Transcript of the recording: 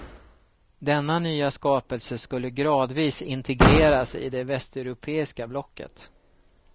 Denna nya skapelse skulle gradvis integreras i det västeuropeiska blocket.